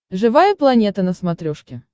живая планета на смотрешке